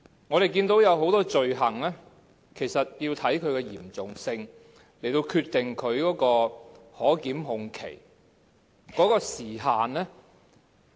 我們見到很多罪行其實是要視乎其嚴重性來決定可檢控期。